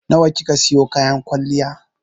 Nawa kika siyo kayan kwalliyar?